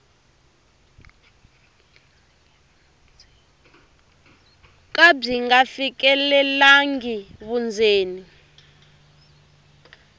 ka byi nga fikelelangi vundzeni